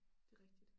Det rigtigt